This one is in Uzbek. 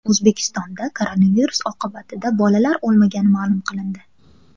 O‘zbekistonda koronavirus oqibatida bolalar o‘lmagani ma’lum qilindi.